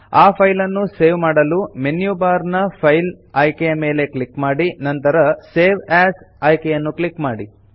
ಆ ಫೈಲ್ ನ್ನು ಸೇವ್ ಮಾಡಲು ಮೆನ್ಯು ಬಾರ್ ನ ಫೈಲ್ ಆಯ್ಕೆ ಮೇಲೆ ಕ್ಲಿಕ್ ಮಾಡಿ ನಂತರ ಸೇವ್ ಎಎಸ್ ಆಯ್ಕೆಯನ್ನು ಕ್ಲಿಕ್ ಮಾಡಿ